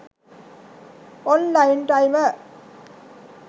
online timer